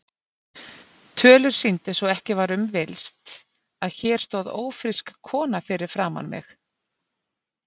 Tölur sýndu svo ekki var um villst, að hér stóð ófrísk kona fyrir framan mig.